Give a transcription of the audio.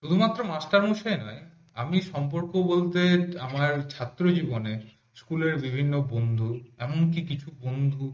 শুধুমাত্র master মশাই নয় আমি সম্পর্ক বলতে আমার ছাত্র জীবনে স্কুলের বিভিন্ন বন্ধু এমনকি কিছু বন্ধু